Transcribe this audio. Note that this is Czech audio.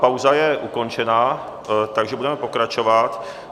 Pauza je ukončena, takže budeme pokračovat.